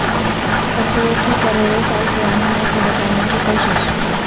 کچھووں کی کروڑوں سال پرانی نسل بچانے کی کوشش